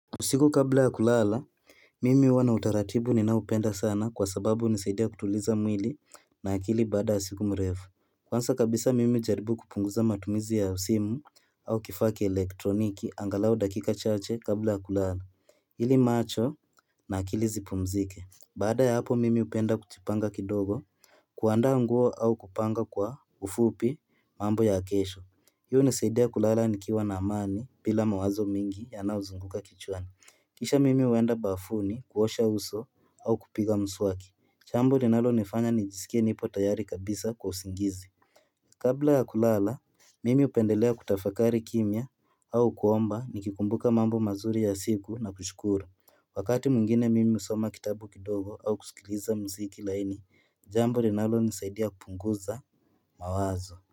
Usiku kabla ya kulala Mimi huwa na utaratibu ninaopenda sana kwa sababu hunisaidia kutuliza mwili na akili baada ya siku mrefu Kwanza kabisa mimi hujaribu kupunguza matumizi ya simu au kifaa kia elektroniki angalawo dakika chaache kabla ya kulala ili macho na akili zipumzike Baada ya hapo mimi hupenda kupanga kidogo kuanda nguo au kupanga kwa ufupi mambo ya kesho hiyo hunisaidia kulala nikiwa na amani bila mawazo mingi yanao zunguka kichwana Kisha mimi huenda bafuni kuosha uso au kupiga mswaki jambo linalonifanya nijisikie nipo tayari kabisa kwa usingizi Kabla ya kulala mimi hupendelea kutafakari kimya au kuomba nikikumbuka mambo mazuri ya siku na kushukuru Wakati mwingine mimi husoma kitabu kidogo au kusikiliza muziki laininjambo linalonisaidia kupunguza mawazo.